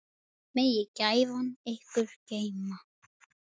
Megi gæfan ykkur geyma.